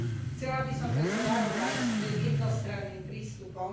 Chcela by som preto varovať pred jednostranným prístupom.